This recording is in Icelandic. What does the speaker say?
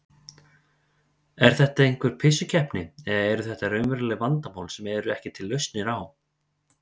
Er þetta einhver pissukeppni eða eru þetta raunveruleg vandamál sem eru ekki til lausnir á?